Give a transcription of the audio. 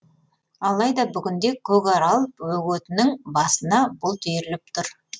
алайда бүгінде көкарал бөгетінің басына бұлт үйіріліп тұр